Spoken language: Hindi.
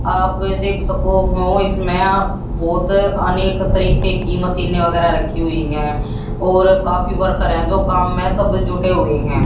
आप देख सको हो इसमें बहोत अनेक तरीके की मशीनें वगैरह रखी हुई हैं और काफी वर्कर हैं जो काम में सब जुटे हुई हैं।